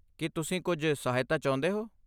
ਕੀ ਤੁਸੀਂ ਕੁਝ ਸਹਾਇਤਾ ਚਾਹੁੰਦੇ ਹੋ?